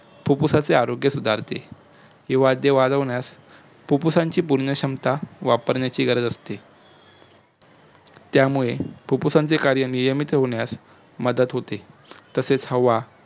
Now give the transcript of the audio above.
फुप्फुसांचे आरोग्य सुधारते ही वाध्य वाद होण्यास फुप्फुसांची पुर्ण क्षमता वापरण्याची गरज असते त्यामुळे फुप्फुसांचे नियमित कार्य होण्यास मदत होते तसेच हवा